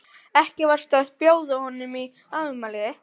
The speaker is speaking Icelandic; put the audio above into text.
Ekki varstu að bjóða honum í afmælið þitt?